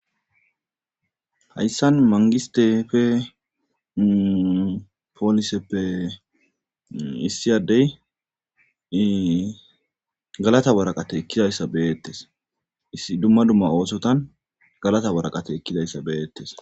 Hayssan mangistefe pooliseppe issiyadeyiii galata waraqate ekkidayssa beyettes isidumma dumma oosotan galata waraqate ekkidayssa beyettes.